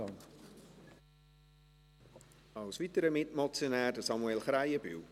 Als weiterer Mitmotionär: Samuel Krähenbühl.